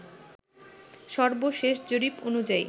সর্বশেষ জরিপ অনুযায়ী